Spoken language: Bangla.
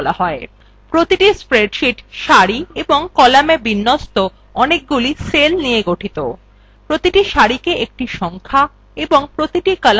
প্রতিটি spreadsheet সারি এবং column বিন্যস্ত অনেকগুলি cells নিয়ে গঠিত প্রতিটি সারি একটি সংখ্যা এবং প্রতিটি column একটি অক্ষর দ্বারা চিহ্নিত করা হয়